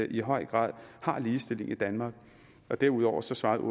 i høj grad har ligestilling i danmark derudover svarede